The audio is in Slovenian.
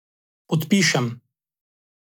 Podpišem.